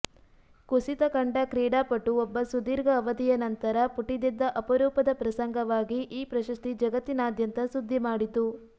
ಕುಸಿತ ಕಂಡ ಕ್ರೀಡಾಪಟು ಒಬ್ಬ ಸುದೀರ್ಘ ಅವಧಿಯ ನಂತರ ಪುಟಿದೆದ್ದ ಅಪರೂಪದ ಪ್ರಸಂಗವಾಗಿ ಈ ಪ್ರಶಸ್ತಿ ಜಗತ್ತಿನಾದ್ಯಂತ ಸುದ್ದಿ ಮಾಡಿತು